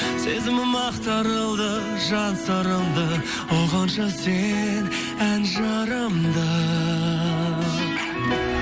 сезімім ақтарылды жан сырымды ұғыншы сен ән жырымды